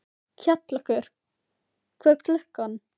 Kjallakur, hvað er klukkan?